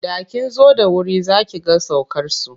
Da kin zo da wuri za ki ga saukarsu.